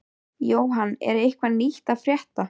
Jóhann, er eitthvað nýtt að frétta?